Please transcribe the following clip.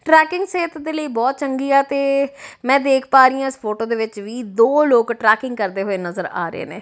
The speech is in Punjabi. ਟਰੈਕਿੰਗ ਸਿਹਤ ਦੇ ਲਈ ਬਹੁਤ ਚੰਗੀ ਆ ਤੇ ਮੈਂ ਦੇਖ ਪਾ ਰਹੀ ਆ ਇਸ ਫੋਟੋ ਦੇ ਵਿੱਚ ਵੀ ਦੋ ਲੋਕ ਟਰੈਕਿੰਗ ਕਰਦੇ ਹੋਏ ਨਜ਼ਰ ਆ ਰਹੇ ਨੇ।